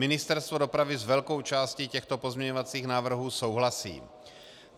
Ministerstvo dopravy s velkou částí těchto pozměňovacích návrhů souhlasí.